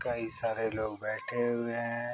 कई सारे लोग बैठे हुए हैं।